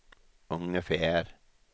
ungefär